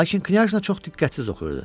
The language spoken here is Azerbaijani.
Lakin knyajna çox diqqətsiz oxuyurdu.